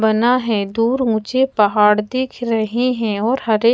बना है दूर उचे पहाड़ दिख रहे है और हरे--